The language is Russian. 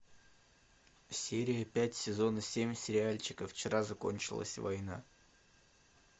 серия пять сезона семь сериальчика вчера закончилась война